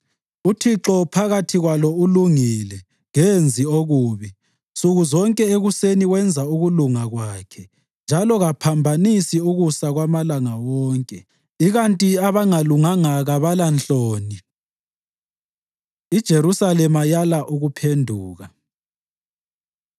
UThixo phakathi kwalo ulungile; kenzi okubi, nsuku zonke ekuseni wenza ukulunga kwakhe njalo kaphambanisi ukusa kwamalanga wonke, ikanti abangalunganga kabalanhloni. IJerusalema Yala Ukuphenduka